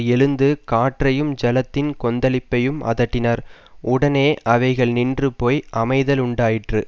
எழுந்து காற்றையும் ஜலத்தின் கொந்தளிப்பையும் அதட்டினார் உடனே அவைகள் நின்று போய் அமைதலுண்டாயிற்று